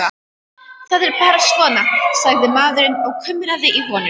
Það er bara svona, sagði maðurinn og kumraði í honum.